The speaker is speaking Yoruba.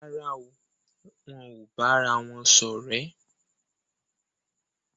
Rárá o, wón ò bára wón ṣọ̀rẹ́